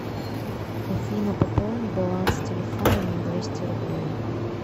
афина пополни баланс телефона на двести рублей